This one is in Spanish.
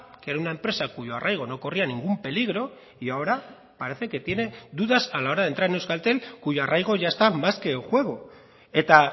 que era una empresa cuyo arraigo no corría ningún peligro y ahora parece que tiene dudas a la hora de entrar en euskaltel cuyo arraigo ya está más que en juego eta